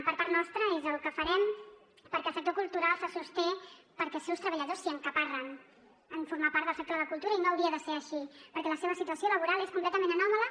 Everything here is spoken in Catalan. per part nostra és el que farem perquè el sector cultural se sosté perquè els seus treballadors s’hi encaparren en formar part del sector de la cultura i no hauria de ser així perquè la seva situació laboral és completament anòmala